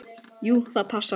Jú, það passar.